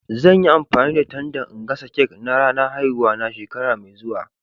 Zan yi amfani da tandan n'gasa cak na ranan haihuwa na shekara mai zuwa.